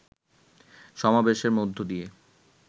সমাবেশের মধ্য দিয়ে